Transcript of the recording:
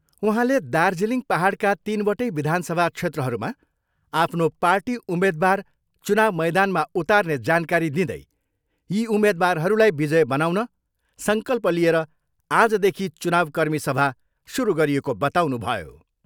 उहाँले दार्जिलिङ पाहाडका तिनवटै विधानसभा क्षेत्रहरूमा आफ्नो पार्टी उम्मेद्वार चुनाउ मैदानमा उतार्ने जानकारी दिँदै यी उम्मेद्वारहरूलाई विजय बनाउन सङ्कल्प लिएर आजदेखि चुनाउ कर्मी सभा सुरु गरिएको बताउनुभयो।